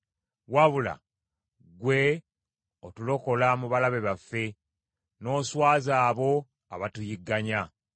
Wabula ggwe otulokola mu balabe baffe, n’oswaza abo abatuyigganya.